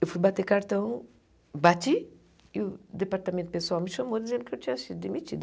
Eu fui bater cartão, bati, e o departamento pessoal me chamou dizendo que eu tinha sido demitida.